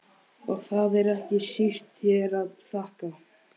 Og það er ekki síst þér að þakka